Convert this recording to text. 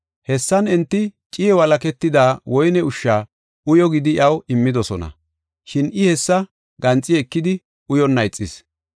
Hessan enti ciiye walaketida woyne ushsha uyo gidi iyaw immidosona. Shin I hessa ganxi ekidi, uyonna ixis.